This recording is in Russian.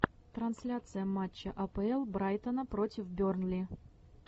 трансляция матча апл брайтона против бернли